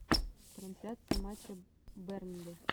трансляция матча бернли